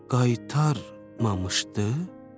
Qaytarmamışdı?